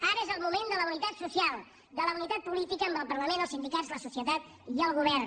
ara és el moment de la unitat social de la unitat política amb el parlament els sindicats la societat i el govern